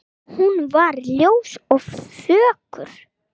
Hún var ljós og fögur.